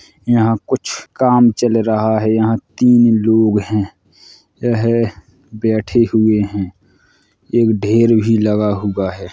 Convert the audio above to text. यहाँ कुछ काम चल रहा है। यहाँ तीन लोग हैं । यह बैठे हुए हैं। एक ढेर भी लगा हुआ है।